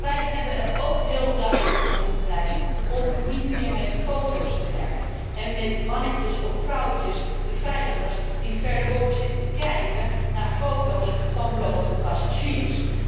Maar wij hebben er ook heel duidelijk voor gepleit om niet meer met foto's te werken en met mannen of vrouwen, beveiligers, die verderop zitten te kijken naar foto's van blote passagiers.